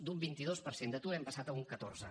d’un vint dos per cent d’atur hem passat a un catorze